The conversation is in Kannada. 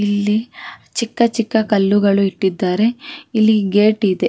ಇಲ್ಲಿ ಚಿಕ್ಕ ಚಿಕ್ಕ ಕಲ್ಲುಗಳು ಇಟ್ಟಿದಾರೆ ಇಲ್ಲಿ ಗೇಟ್ ಇದೆ.